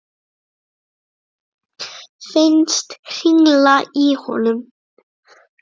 Finnst hringla í honum.